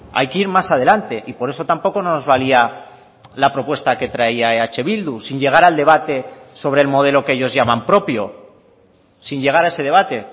hay que ir más adelante y por eso tampoco no nos valía la propuesta que traía eh bildu sin llegar al debate sobre el modelo que ellos llaman propio sin llegar a ese debate